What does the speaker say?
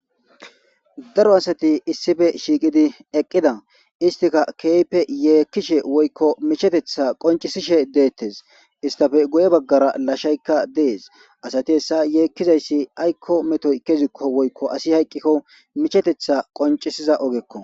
daro asati issife shiiqidi eqqida istika keype yeekkishe woykko michetetha qoncisishe deettes istafe goye baggara lashaykka dees asati essa yeekkizayssi aykko metoy kezikko woykko asi hayqqikko michetetha qoncisiza ogekko